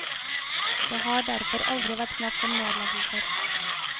Det har derfor aldri vært snakk om nedleggelser.